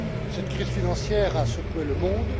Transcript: Cette crise financière a secoué le monde.